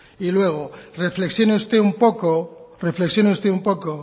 y luego reflexione usted un poco reflexione usted un poco